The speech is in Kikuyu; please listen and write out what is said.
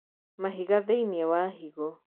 Mahiga thĩinii wa higo